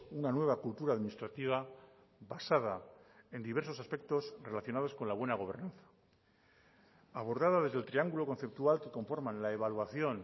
una nueva cultura administrativa basada en diversos aspectos relacionados con la buena gobernanza abordada desde el triangulo conceptual que conforman la evaluación